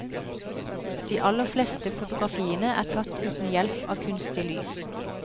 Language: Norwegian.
De aller fleste fotografiene er tatt uten hjelp av kunstig lys.